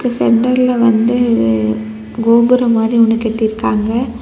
சென்டர்ல வந்து கோபுரம் மாதிரி ஒன்னு கட்டி இருக்காங்க.